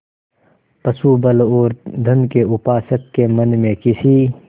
पशुबल और धन के उपासक के मन में किसी